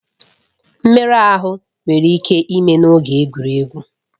Mmerụ ahụ nwere ike ime n'oge egwuregwu.